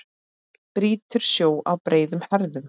Brýtur sjó á breiðum herðum.